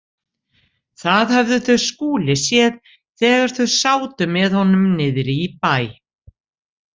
Það höfðu þau Skúli séð þegar þau sátu með honum niðri í bæ.